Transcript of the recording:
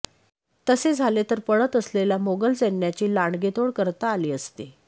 तसे झाले तर पळत असलेल्या मोगल सैन्याची लांडगेतोड करता आली असती